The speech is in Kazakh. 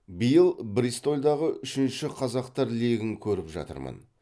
биыл бристольдағы үшінші қазақтар легін көріп жатырмын